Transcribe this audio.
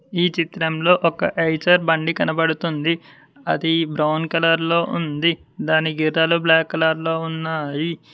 ఈ చిత్రంలో ఒక ఐచర్ బండి కనబడుతుంది అది బ్రౌన్ కలర్ లో ఉంది దాని గీతాలు బ్లాక్ కలర్ లో ఉన్నాయి.